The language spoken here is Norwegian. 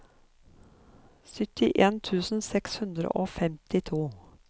syttien tusen seks hundre og femtito